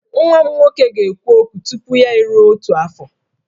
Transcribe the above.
Nwa m nwoke ga-ekwu okwu tupu ya eruo otu afọ